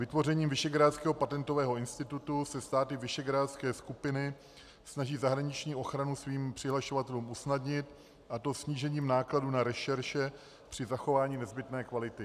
Vytvořením Visegrádského patentového institutu se státy visegrádské skupiny snaží zahraniční ochranu svým přihlašovatelům usnadnit, a to snížením nákladů na rešerše při zachování nezbytné kvality.